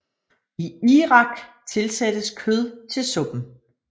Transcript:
I Irak tilsættes kød til suppen